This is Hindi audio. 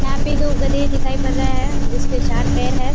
यहाँ पर दो गधे दिखाई पड़ रहे हैं जिसके चार पैर हैं।